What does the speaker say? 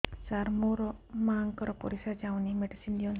ସାର ମୋର ମାଆଙ୍କର ପରିସ୍ରା ଯାଉନି ମେଡିସିନ ଦିଅନ୍ତୁ